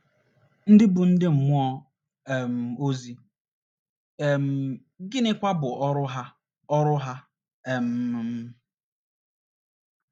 ndị bụ ndị mmụọ um ozi, um gịnịkwa bụ ọrụ ha ọrụ ha um?